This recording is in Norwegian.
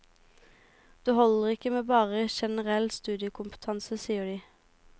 Det holder ikke med bare generell studiekompetanse, sier de.